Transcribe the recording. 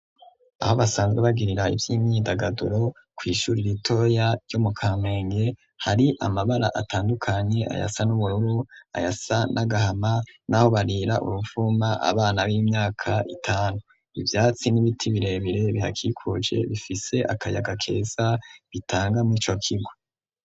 Aho basanzwe bagirira ivy'imyindagaduro kw'ishuri ritoya ryo mu kamenge hari amabara atandukanye ayasa n'ubururu ayasa n'agahama n'aho barira uruvuma abana b'imyaka itanu. Ivyatsi n'ibiti birebire bihakikuje bifise akayaga keza bitanga mw'ico kigo.